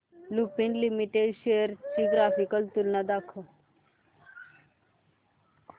Lupin limited shares ची graphical तुलना दाखव